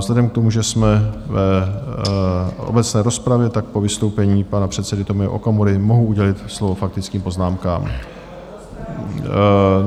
Vzhledem k tomu, že jsme v obecné rozpravě, tak po vystoupení pana předsedy Tomia Okamury mohu udělit slovo faktickým poznámkám.